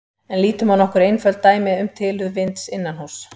En lítum á nokkur einföld dæmi um tilurð vinds innanhúss.